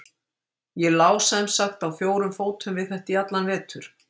Ég lá sem sagt á fjórum fótum við þetta í allan vetur.